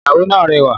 Ìyàwó náà rẹwà